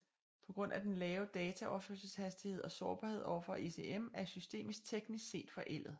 På grund af den lave dataoverførselshastighed og sårbarhed overfor ECM er systemet teknisk set forældet